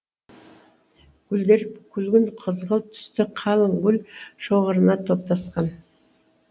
гүлдері күлгін қызғылт түсті қалың гүл шоғырына топтасқан